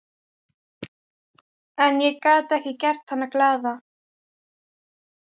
En ég get ekki gert hana glaða.